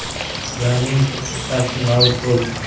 Ularning to‘qqiztasi nobud bo‘ldi.